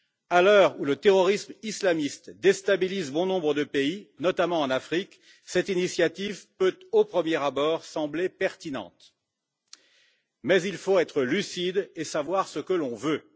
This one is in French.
À l'heure où le terrorisme islamiste déstabilise bon nombre de pays, notamment en Afrique, cette initiative peut au premier abord sembler pertinente, mais il faut être lucide et savoir ce que l'on veut.